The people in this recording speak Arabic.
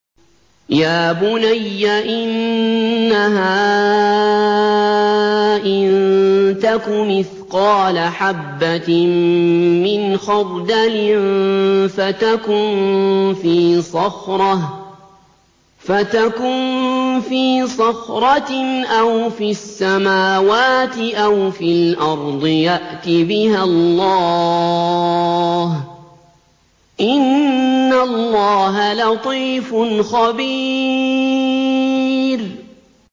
يَا بُنَيَّ إِنَّهَا إِن تَكُ مِثْقَالَ حَبَّةٍ مِّنْ خَرْدَلٍ فَتَكُن فِي صَخْرَةٍ أَوْ فِي السَّمَاوَاتِ أَوْ فِي الْأَرْضِ يَأْتِ بِهَا اللَّهُ ۚ إِنَّ اللَّهَ لَطِيفٌ خَبِيرٌ